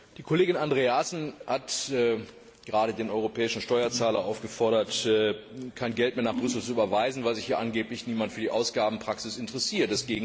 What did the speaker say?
Die Kollegin Andreasen hat gerade den europäischen Steuerzahler aufgefordert, kein Geld mehr nach Brüssel zu überweisen, weil sich hier angeblich niemand für die Ausgabenpraxis interessiert.